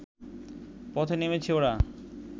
পথে নেমেছে ওরা